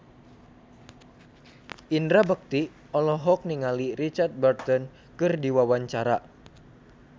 Indra Bekti olohok ningali Richard Burton keur diwawancara